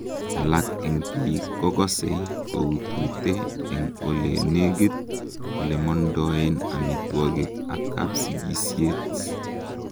alak en biik kokosei koutute en olenigit olemondoen amitwogik ak kapsigisiet